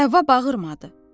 Həvva bağırmadı.